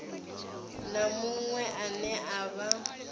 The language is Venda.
na muṅwe ane a vha